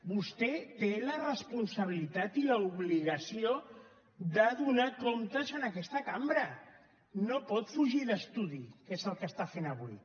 vostè té la responsabilitat i l’obligació de donar comptes en aquesta cambra no pot fugir d’estudi que és el que està fent avui